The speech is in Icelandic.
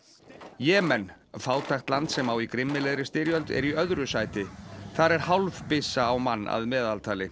Jemen fátækt land sem á í grimmilegri styrjöld er í öðru sæti þar er hálf byssa á mann að meðaltali